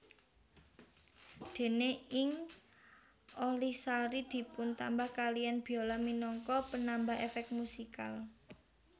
Dene ing Olihsari dipuntambah kaliyan biola minangka penambah efek musikal